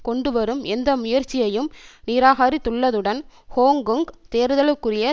கொண்டுவரும் எந்த முயற்சியையும் நிராகரித்துள்ளதுடன் ஹோங்கொங் தேர்தலுக்குரிய